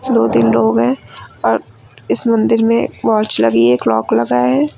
दो तीन लोग हैं और इस मंदिर में वॉच लगी है क्लॉक लगा है।